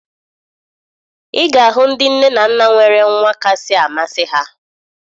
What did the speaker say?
Ị ga-ahụ ndị nne na nna nwere nwa kasị amasị ha